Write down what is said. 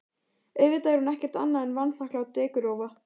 Auðvitað er hún ekkert annað en vanþakklát dekurrófa.